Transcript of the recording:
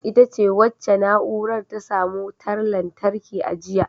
Ita ce wacce na’urar ta samu wutar lantarki a jiya.